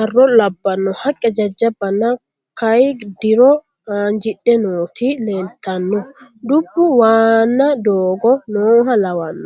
arro labbanno haqqe jajjabbanna kayi dro haanjidhe nooti leeltanno dubb waanna doogo nooha lawanno